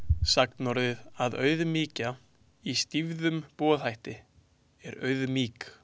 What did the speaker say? Sagnorðið að „auðmýkja“ í stýfðum boðhætti er „auðmýk“.